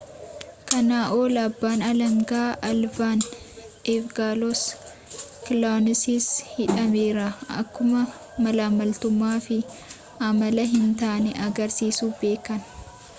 kana ol abbaan alanga olaanaan evangelos kaluwosis hidhameera akkuma maalammaltumaa fi amala hin taane agarsiisu beeken